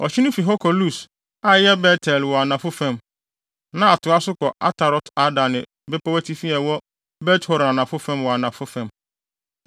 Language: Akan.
Ɔhye no fi hɔ kɔ Lus (a ɛyɛ Bet-El) wɔ anafo fam, na ɛtoa so kɔ Atarot-Adar ne bepɔw atifi a ɛwɔ Bet-Horon Anafo wɔ anafo fam.